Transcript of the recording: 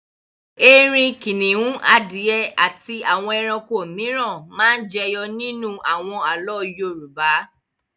Erin, kìnnìún, adìẹ àti àwọn ẹranko mìíràn máa ń jẹyọ nínú àwọn àlọ́ Yorùbá.